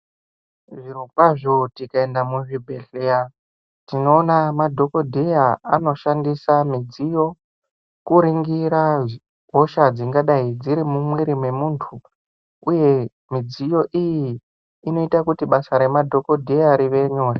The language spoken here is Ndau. Zviro kwazvo tikaenda muzvi bhedhleya tinoona madhokodheya anoshandisa midziyo kuringira hosha dzingadai dziri mumwiri me muntu uye mudziyo iyi inoita kuti basa rema dhokoteya rive nyore.